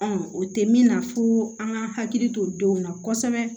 o tɛ min na fo an ka hakili to denw na kosɛbɛ